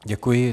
Děkuji.